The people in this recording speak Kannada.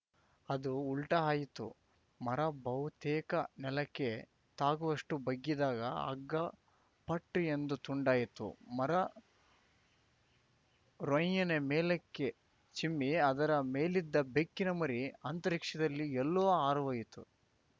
ಅದು ಉಲ್ಟಾಆಯಿತು ಮರ ಬಹುತೇಕ ನೆಲಕ್ಕೆ ತಾಗುವಷ್ಟುಬಗ್ಗಿದಾಗ ಹಗ್ಗ ಫಟ್‌ ಎಂದು ತುಂಡಾಯಿತು ಮರ ರೊಂಯ್ಯನೆ ಮೇಲಕ್ಕೆ ಚಿಮ್ಮಿ ಅದರ ಮೇಲಿದ್ದ ಬೆಕ್ಕಿನ ಮರಿ ಅಂತರಿಕ್ಷದಲ್ಲಿ ಎಲ್ಲೋ ಹಾರಿಹೋಯಿತು